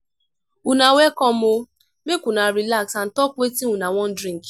una welcome o! make una relax and talk wetin una wan drink.